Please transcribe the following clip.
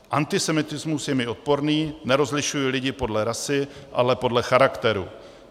Antisemitismus je mi odporný, nerozlišuji lidi podle rasy, ale podle charakteru.